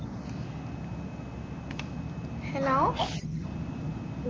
hello